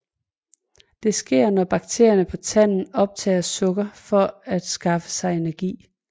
Det sker når bakterierne på tanden optager sukker for at skaffe sig energi